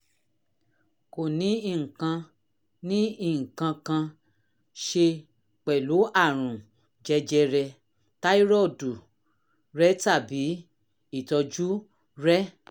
kò ní nǹkan ní nǹkan kan ṣe pẹ̀lú àrùn jẹjẹrẹ táírọ́ọ̀dù rẹ tàbí ìtọ́jú rẹ